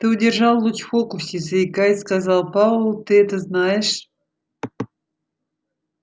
ты удержал луч в фокусе заикаясь сказал пауэлл ты это знаешь